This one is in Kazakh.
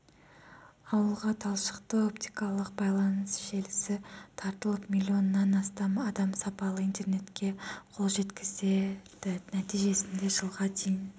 ауылға талшықты-оптикалық байланыс желісі тартылып миллионнан астам адам сапалы интернетке қол жеткізеді нәтижесінде жылға дейін